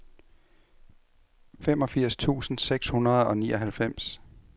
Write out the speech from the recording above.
femogfirs tusind seks hundrede og nioghalvfems